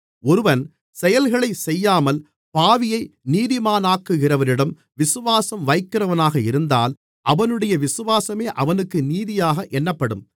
ஒருவன் செயல்களைச் செய்யாமல் பாவியை நீதிமானாக்குகிறவரிடம் விசுவாசம் வைக்கிறவனாக இருந்தால் அவனுடைய விசுவாசமே அவனுக்கு நீதியாக எண்ணப்படும்